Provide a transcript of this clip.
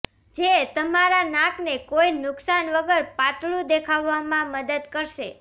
જે તમારા નાકને કોઇ નુક્શાન વગર પાતળું દેખાડવામાં મદદ કરશે